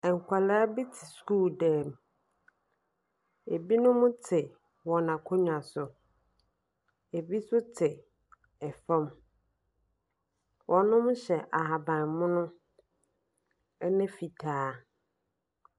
Mmaa bi te sukuu dan mu. Binom te wɔn akonnwa so. Bi nso te fam. Wɔhyɛ ahabammono ne fitaa.